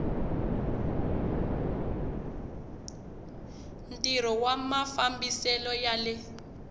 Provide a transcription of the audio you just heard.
ntirho wa mafambisele ya le